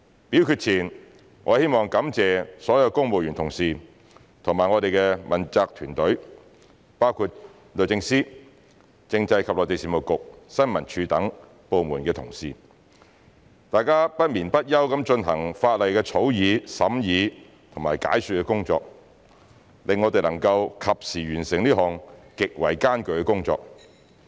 表決前，我希望感謝所有公務員同事及我們的問責團隊，包括律政司、政制及內地事務局、政府新聞處等部門的同事，大家不眠不休地進行法例草擬、審議和解說的工作，令我們能夠及時完成這項極為艱巨的工作。